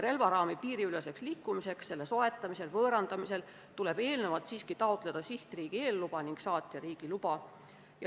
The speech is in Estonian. Relvaraami piiriüleseks liikumiseks selle soetamisel või võõrandamisel tuleb eelnevalt taotleda sihtriigi eelluba ning saatjariigi luba.